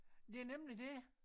Det er nemlig det